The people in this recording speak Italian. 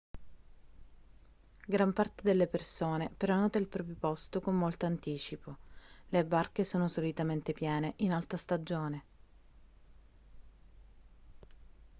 gran parte delle persone prenota il proprio posto con molto anticipo le barche sono solitamente piene in alta stagione